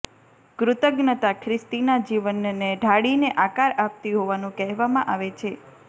કૃતજ્ઞતા ખ્રિસ્તીના જીવનને ઢાળીને આકાર આપતી હોવાનું કહેવામાં આવે છે